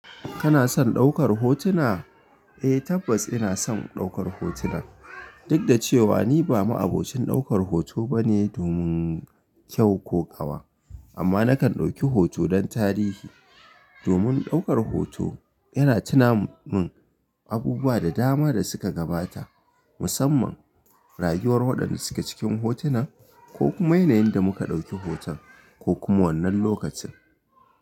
Kana son ɗaukar hotuna? Eh tabbas ina son ɗaukar hotuna, duk da cewa ni ba ma'abocin ɗaukar hoto ba ne domin kyau ko ƙawa. Amma nakan ɗauki hoto don tarihi. Domin ɗaukar hoto yana tuna mun abubuwa da dama da suka gabata, musamman rayuwar waɗanda suke cikin hotunan, ko kuma yanayin da muka ɗauki hoton ko kuma wannan lokacin.